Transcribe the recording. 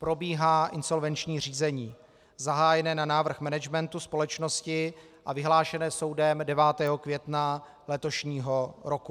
Probíhá insolvenční řízení zahájené na návrh managementu společnosti a vyhlášené soudem 9. května letošního roku.